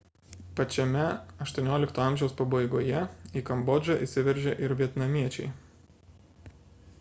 pačiame xviii amžiaus pabaigoje į kambodžą įsiveržė ir vietnamiečiai